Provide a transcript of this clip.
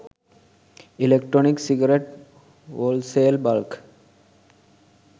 electronic cigarette wholesale bulk